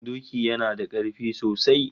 Doki yana da karfi sosai